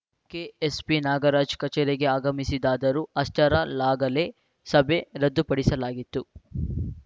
K ಎಸ್‌ಪಿನಾಗರಾಜ ಕಚೇರಿಗೆ ಆಗಮಿಸಿದರಾದರೂ ಅಷ್ಟರ ಲ್ಲಾಗಲೇ ಸಭೆ ರದ್ದುಪಡಿಸಲಾಗಿತ್ತು